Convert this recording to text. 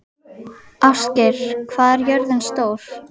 Ástgeir, hvað er jörðin stór?